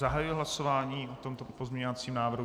Zahajuji hlasování o tomto pozměňovacím návrhu.